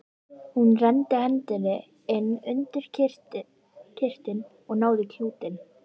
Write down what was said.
Hún renndi hendinni inn undir kyrtilinn og náði í klútinn.